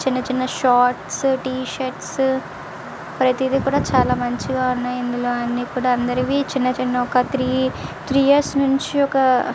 చిన్న చిన్న shorts t shirts ప్రతిది కూడా చాల మంచిగా వున్నాయ్. ఇందులో అందరివి అని కూడా చైనా చైనా ఒక--